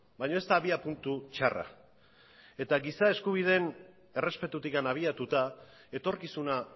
baina ez da abiapuntu txarra eta giza eskubideen errespetutik abiatuta etorkizuna